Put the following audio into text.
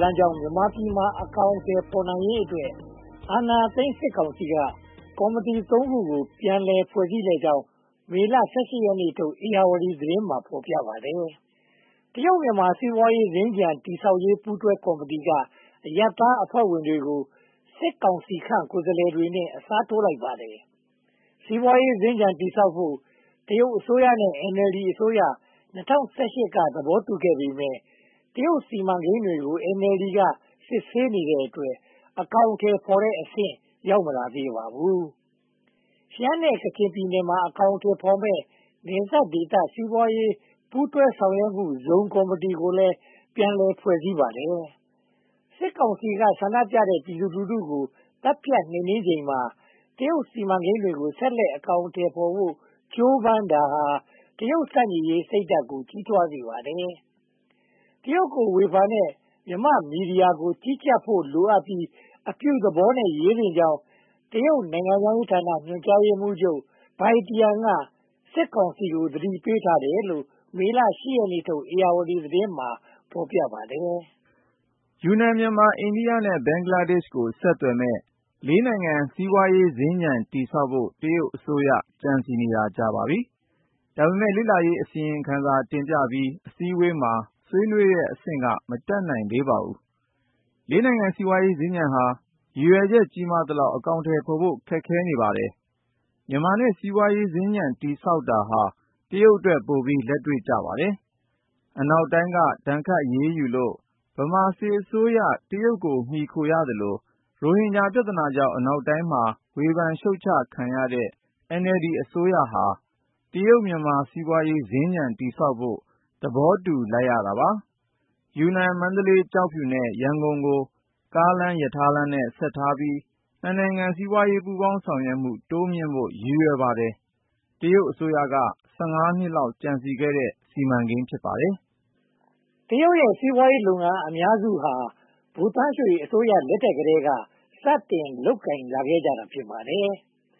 လမ်းကြောင်း မြန်မာပြည်မှာ အကောင်အထည် ဖော်နိုင်ရေးအတွက် အာဏာသိမ်းကောင်စီက ကော်မတီ (၃) ခုကို ပြန်လည်ဖွဲ့စည်းလိုက်ကြောင်း မေလ (၁၈) ရက်နေ့ထုတ် ဧရာဝတီသတင်းမှာ ဖော်ပြပါတယ်။ တရုတ်-မြန်မာ စီးပွားရေးစင်္ကြန် တည်ဆောက်ရေး ပူးတွဲကော်မတီက အရပ်သားအဖွဲ့ဝင်တွေကို စစ်ကောင်စီခန့် ကိုယ်စားလှယ်တွေနဲ့ အစားထိုးလိုက်ပါတယ်။ စီးပွားရေးစင်္ကြန် တည်ဆောက်ဖို့ တရုတ်နဲ့ NLD အစိုးရ ၂၀၁၈ က သဘောတူခဲ့ပေမယ့် တရုတ်စီမံကိန်းတွေကို NLD က စစ်ဆေးတဲ့အတွက် အကောင်အထည်ဖော်တဲ့အဆင့် ရောက်မလာသေးပါဘူး။ ရှမ်းနဲ့ကချင်ပြည်နယ်မှာ အကောင်အထည်ဖော်မယ့် နယ်စပ်ဒေသ စီးပွားရေးပူးတွဲဆောင်ရွက်မှုဇုန် ကော်မတီကိုလည်း ပြည်လည်ဖွဲ့စည်းပါတယ်။ စစ်ကောင်စီက ဆန္ဒပြတဲ့ ပြည်သူလူထုကို သတ်ဖြတ်နှိမ်နင်းချိန်မှာ တရုတ်စီမံကိန်းတွေကို ဆက်လက်အကောင်အထည်ဖော်ဖို့ ကြိုးပမ်းတာဟာ တရုတ်ဆန့်ကျင်ရေးစိတ်ဓါတ်ကို ကြီးထွားစေပါတယ်။ တရုတ်ကို ဝေဖန်ရှုတ်ချတဲ့ မြန်မာမီဒီယာကို ကြီးကြပ်ဖို့လိုအပ်ပြီး၊ အပြုသဘောနဲ့ ရေးသင့်ကြောင်း တရုတ်နိုင်ငံခြားရေးဌာန ညွှန်ကြားရေးမှူး Bia Tian က စစ်ကောင်စီကို သတိပေးထားတယ်လို့လည်း မတ်လ (၈) ရက်နေ့ထုတ် ဧရာဝတီသတင်းမှာ ဖော်ပြပါတယ်။ ယူနန်၊ မြန်မာ၊ အိန္ဒိယနဲ့ ဘင်္ဂလားဒေ့ရှ်ကို ဆက်သွယ်မယ့် လေးနိုင်ငံ စီးပွားရေးစင်္ကြန် တည်ဆောက်ဖို့ တရုတ်အစိုးရ ကြံစည်နေတာကြာပါပြီ။ ဒါပေမဲ့ လေ့လာရေးအစီရင်ခံစာ တင်ပြပြီး အစည်းအဝေးမှာ ဆွေးနွေးတဲ့အဆင့်က မတက်နိုင်ပါဘူး။ လေးနိုင်ငံ စီးပွားရေးစင်္ကြန်ဟာ ရည်ရွယ်ချက် ကြီးမားသလောက် အကောင်အထည်ဖော်ဖို့ ခက်ခဲနေပါတယ်။ မြန်မာနဲ့ စီးပွားရေးစင်္ကြန် တည်ဆောက်တာဟာ တရုတ်အတွက် ပိုပြီးလက်တွေ့ကြပါတယ်။ အနောက်တိုင်းက ဒဏ်ခတ်အရေးယူလို့ ဗမာစစ်အစိုးရ တရုတ်ကို မှီခိုသလို ရိုဟင်ဂျာပြဿနာကြောင့် အနောက်တိုင်းမှာ ဝေဖန်ရှုတ်ချခံရတဲ့ NLD အစိုးရဟာ တရုတ်-မြန်မာ စီးပွားရေစင်္ကြန်တည်ဆောက်ဖို့ သဘောတူလိုက်ပါတယ်။ ယူနန်၊ မန္တလေး၊ ကျောက်ဖြူနဲ့ ရန်ကုန်ကို ကားလမ်း၊ ရထားလမ်းနဲ့ ဆက်ထားပြီး နှစ်နိုင်ငံ စီးပွားရေးပူးပေါင်းဆောင်ရွက်မှု တိုးမြှင့်ဖို့ ရည်ရွယ်ပါတယ်။ တရုတ်အစိုးရက (၁၅) နှစ်လောက် ကြံစည်ခဲ့တဲ့ စီမံကိန်း ဖြစ်ပါတယ်။ တရုတ်ရဲ့ စီးပွားရေးလုပ်ငန်းအများစုဟာ ဗိုလ်သန်းရွှေအစိုးရလက်ထက်ကတည်းက စတင်လုပ်ကိုင်ခဲ့ကြတာ ဖြစ်ပါတယ်